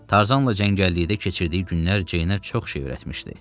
Tarzanla cəngəllikdə keçirdiyi günlər Ceynə çox şey öyrətmişdi.